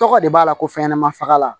Tɔgɔ de b'a la ko fɛnɲɛnamanin faga